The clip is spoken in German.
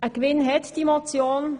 Einen Gewinn hat die Motion: